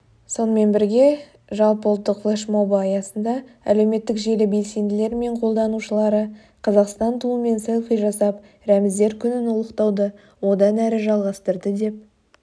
сонымен бірге жалпыұлттық флешмобы аясында әлеуметтік желі белсенділері мен қолданушылары қазақстан туымен селфи жасап рәміздер күнін ұлықтауды одан әрі жалғастырды деп